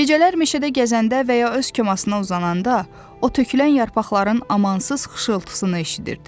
Gecələr meşədə gəzəndə və ya öz komasına uzananda, o tökülən yarpaqların amansız xışıltısını eşidirdi.